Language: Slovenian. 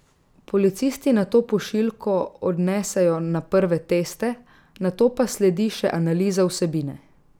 Policisti nato pošiljko odnesejo na prve teste, nato pa sledi še analiza vsebine.